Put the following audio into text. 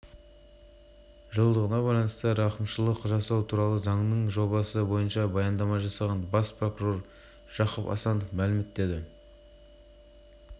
метр газ өндіру жоспарланған одан кейінгі жылдары мұнай өндірісін миллион тоннаға және газ өндірісін млрд